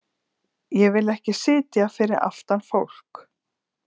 Ég vil ekki sitja fyrir aftan fólk.